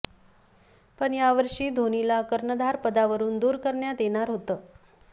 पण या वर्षी धोनीला कर्णधारपदावरून दूर करण्यात येणार होतं